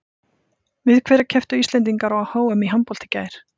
Við hverja kepptu Íslendingar á HM í handbolta í gær?